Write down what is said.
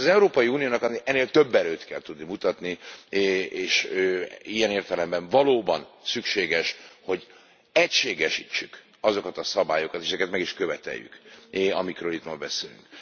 Nos, az Európai Uniónak ennél több erőt kell tudni mutatni, és ilyen értelemben valóban szükséges, hogy egységesítsük azokat a szabályokat, és ezeket meg is követeljük, amikről itt ma beszélünk.